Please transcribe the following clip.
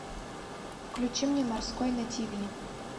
включи мне морской на тиви